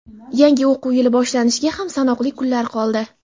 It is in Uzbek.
Yangi o‘quv yili boshlanishiga ham sanoqli kunlar qoldi.